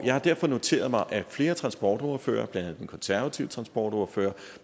jeg har derfor noteret mig at flere transportordførere blandt andet den konservative transportordfører